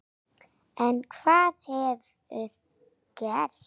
En hvað hefur gerst?